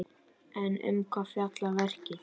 En um hvað fjallar verkið?